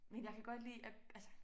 Men jeg kan godt lide at altså